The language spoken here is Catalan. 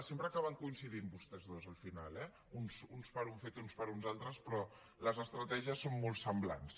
sempre acaben coincidint vostès dos al final eh uns per un fet i uns per uns altres però les estratègies són molt semblants